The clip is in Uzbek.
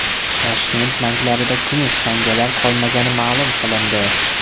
Toshkent banklarida kumush tangalar qolmagani ma’lum qilindi.